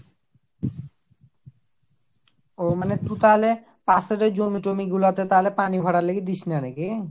ও মানে টু তাহলে পাশের ওই জমি টমি গুলাতে তাহলে পানি ভরার লাগে দিসনা নাকি ?